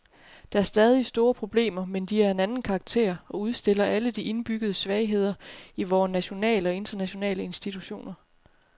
Der er stadig store problemer, men de er af en anden karakter og udstiller alle de indbyggede svagheder i vore nationale og internationale institutioner.